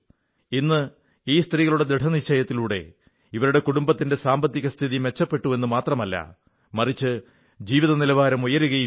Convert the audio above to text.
ഇന്ന് ഈ സ്ത്രീകളുടെ ദൃഢനിശ്ചയത്തിലൂടെ ഇവരുടെ കുടുംബത്തിന്റെ സാമ്പത്തിക സ്ഥിതി മെച്ചപ്പെട്ടു എന്നു മാത്രമല്ല മറിച്ച് ജീവിതനിലവാരം ഉയരുകയും ചെയ്തു